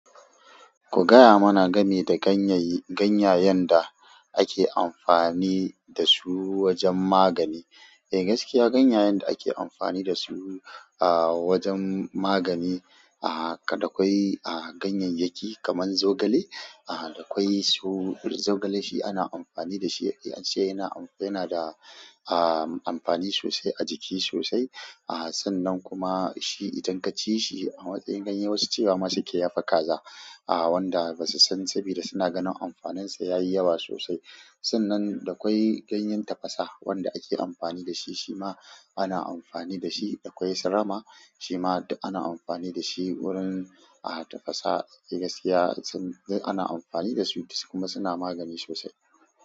Ku gaya mana game da ganyaye, ganyayen da ake amfani da su wajen magani. Eh, gaskiya ganyayen da ake amfani da su, ah, wajen magani, ah, haka da ƙwai, ah, ganyayyaki kaman zogale, ah, da kwai su zogale shi ana amfani da shi. Eh, shi yana, yana da, ah, amfani sosai a jiki sosai. Ah, sannan kuma shi idan ka ci shi a matsayin ganye, wasu cewa ma sukeyi yafi kaza. Ah, wanda ba su san sabida suna ganin amfaninsa yayi yawa sosai. Sannan da kwai ganyen tafasa wanda ake amfani da shi, shi ma ana amfani da shi. Da kwai sarama shi ma ana amfani da shi wurin, ah, tafasa. Eh, gaskiya sun-- ana amfani da su kuma suna magani sosai.